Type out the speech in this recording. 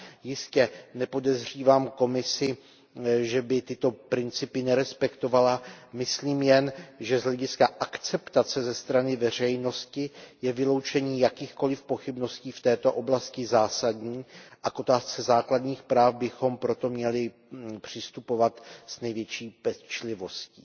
Jistě nepodezřívám Komisi, že by tyto principy nerespektovala, myslím jen, že z hlediska akceptace ze strany veřejnosti je vyloučení jakýchkoli pochybností v této oblasti zásadní a k otázce základních práv bychom proto měli přistupovat s největší pečlivostí.